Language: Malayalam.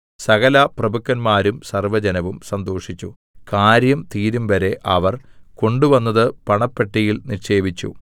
സകലപ്രഭുക്കന്മാരും സർവ്വജനവും സന്തോഷിച്ചു കാര്യം തീരുംവരെ അവർ കൊണ്ടുവന്നത് പണപ്പെട്ടിയിൽ നിക്ഷേപിച്ചു